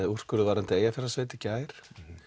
úrskurður varðandi Eyjafjarðasveit í gær